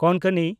ᱠᱳᱝᱠᱚᱱᱤ